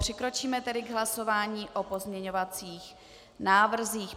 Přikročíme tedy k hlasování o pozměňovacích návrzích.